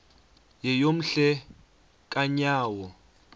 yeyom hle kanyawo